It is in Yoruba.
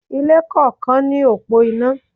Ilé kọ̀ọ̀kan ní òpó iná.